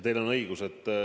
Teil on õigus.